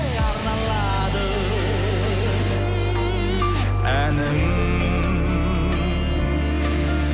арналады әнім